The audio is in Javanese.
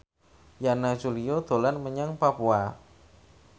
Yana Julio dolan menyang Papua